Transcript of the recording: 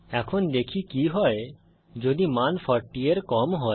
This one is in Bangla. এখন দেখি কি হয় যদি মান 40 এর কম হয়